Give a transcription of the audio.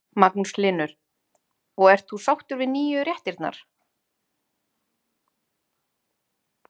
Magnús Hlynur: Og ert þú sáttur við nýju réttirnar?